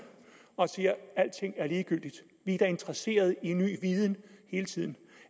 og siger at alting er ligegyldigt vi er da interesserede i ny viden hele tiden